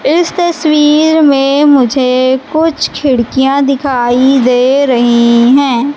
इस तस्वीर में मुझे कुछ खिड़कियां दिखाई दे रही हैं।